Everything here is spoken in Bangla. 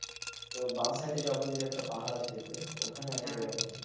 বা সাইড এর opposite এ একটা পাহাড় আছে দেখবে ওখানে আছে এরকম।